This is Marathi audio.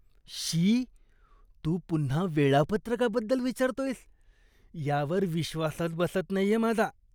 श्शी, तू पुन्हा वेळापत्रकाबद्दल विचारतोयस यावर विश्वासच बसत नाहीये माझा!